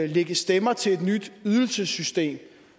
lægge stemmer til et nyt ydelsessystem